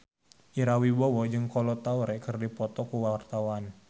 Ira Wibowo jeung Kolo Taure keur dipoto ku wartawan